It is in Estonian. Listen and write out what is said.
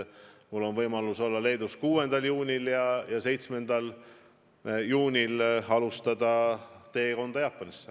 Mul on võimalus olla Leedus 6. juunil ja 7. juunil alustada teekonda Jaapanisse.